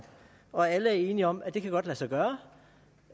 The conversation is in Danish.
og alle er enige om at det godt kan lade sig gøre